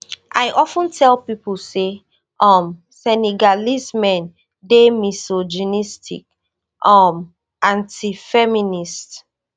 i of ten tell pipo say um senegalese men dey misogynistic um anti-feminist